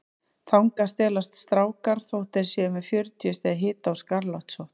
Þangað stelast strákar þótt þeir séu með fjörutíu stiga hita og skarlatssótt.